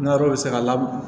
N'arɔ bɛ se ka lamɔ